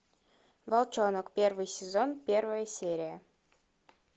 волчонок первый сезон первая серия